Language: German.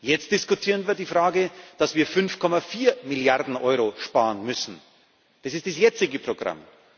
Jetzt diskutieren wir über die Frage, dass wir 5,4 Milliarden Euro sparen müssen das ist das jetzige Programm.